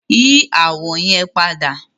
Yi awọ yẹn pada!